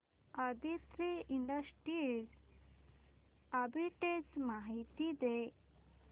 Aditri industries arbitrage माहिती दे